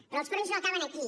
però els fronts no acaben aquí